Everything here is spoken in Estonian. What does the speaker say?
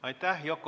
Aitäh!